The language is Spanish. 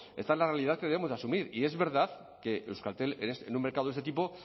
esta es la realidad que debemos asumir y es verdad que euskaltel en un mercado de ese tipo